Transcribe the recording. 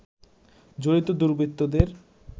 জড়িত দুর্বৃত্তদের